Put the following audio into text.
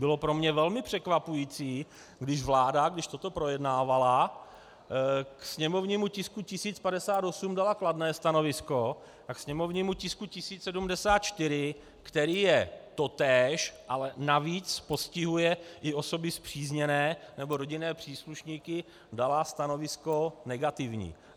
Bylo pro mne velmi překvapující, když vláda, když toto projednávala, k sněmovnímu tisku 1058 dala kladné stanovisko a k sněmovnímu tisku 1074, který je totéž, ale navíc postihuje i osoby spřízněné, nebo rodinné příslušníky, dala stanovisko negativní.